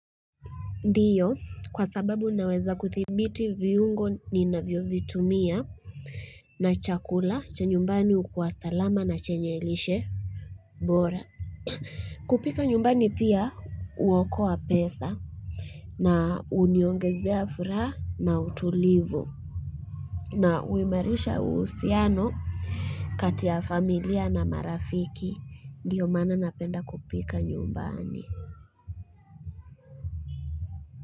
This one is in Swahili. Ndiyo, kwa sababu naweza kuthibiti viungo ninavyovitumia na chakula cha nyumbani ukua salama na chenye lishe bora kupika nyumbani pia uokoa pesa na uniongezea furaha na utulivu na uimarisha uhusiano kati ya familia na marafiki Ndio maana napenda kupika nyumbani.